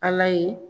Ala ye